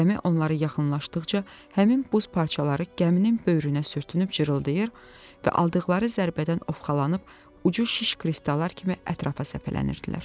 Gəmi onları yaxınlaşdıqca həmin buz parçaları gəminin böyrünə sürtünüb cırıltayır və aldıqları zərbədən ovxalanıb ucu şiş kristallar kimi ətrafa səpələnirdilər.